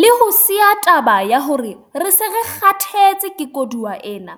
Le ho siya taba ya hore re se re 'kgathetse ke koduwa' ena,